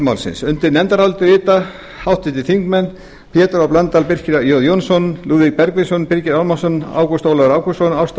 málsins undir nefndarálitið rita háttvirtir þingmenn pétur h blöndal birkir j jónsson lúðvík bergvinsson birgir ármannsson ágúst ólafur ágústsson ásta